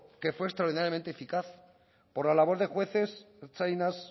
que fue extraordinariamente eficaz por la labor de jueces ertzainas